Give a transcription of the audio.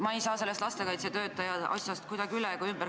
Ma ei saa sellest lastekaitsetöötaja asjast kuidagi üle ega ümber.